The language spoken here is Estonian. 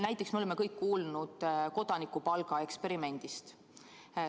Näiteks me oleme kõik kuulnud kodanikupalga eksperimendist.